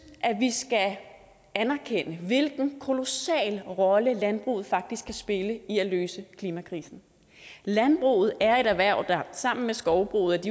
at vi skal anerkende hvilken kolossal rolle landbruget faktisk kan spille i at løse klimakrisen landbruget er et erhverv der sammen med skovbruget